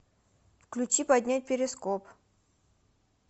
включи поднять перископ